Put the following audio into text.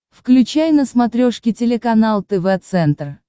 включай на смотрешке телеканал тв центр